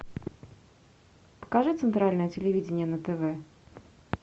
покажи центральное телевидение на тв